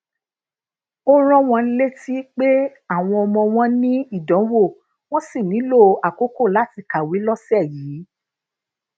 ó rán wọn létí pé àwọn ọmọ wọn ní ìdánwò wón sì nílò àkókò lati kawe lósè yìí